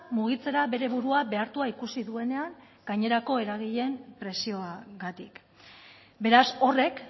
mugitzera bere burua behartua ikusi duenean gainerako eragileen presioagatik beraz horrek